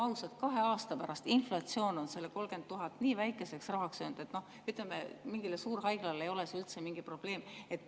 Olgem ausad, kahe aasta pärast on inflatsioon selle 30 000 eurot nii väikeseks rahaks söönud, et mingile suurhaiglale ei ole see üldse mingi probleem.